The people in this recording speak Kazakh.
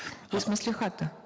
вы с маслихата